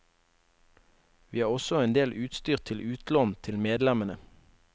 Vi har også en del utstyr til utlån til medlemmene.